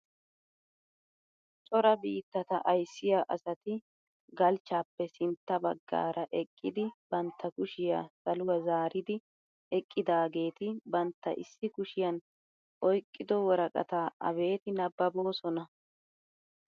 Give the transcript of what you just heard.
Cora biittata ayssiyaa asati galchchaappe sintta baggaara eqqidi bantta kushiyaa saluwaa zaaridi eqqidaageti bantta issi kushiyaan oyqqido woraqataa abeti nababoosona!